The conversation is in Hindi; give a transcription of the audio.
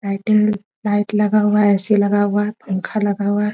लाइटिंग लाइट लगा हुआ है ए.सी. लगा हुआ है पंखा लगा हुआ है।